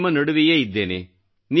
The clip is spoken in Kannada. ನಿಮ್ಮ ನಡುವೆಯೇ ಇದ್ದೇನೆ